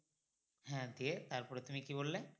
হ্যাঁ দিয়ে তারপরে তুমি কী বললে